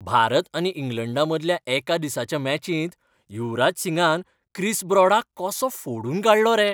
भारत आनी इंग्लंडा मदल्या एका दिसाच्या मॅचिंत युवराज सिंगान क्रिस ब्रॉडाक कसो फोडून काडलो रे.